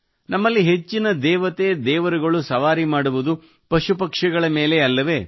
ನಮ್ಮಲ್ಲಿ ಹೆಚ್ಚಿನ ದೇವತೆದೇವರುಗಳು ಸವಾರಿ ಮಾಡುವುದು ಪಶುಪಕ್ಷಿಗಳ ಮೇಲೇ ಅಲ್ಲವೇ